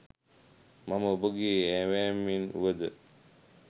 මම ඔබගේ ඇවෑමෙන් වුවද